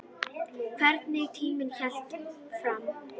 Hvernig tíminn hélt áfram.